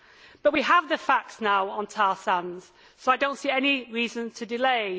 But we have the facts on tar sands now, so I do not see any reason to delay.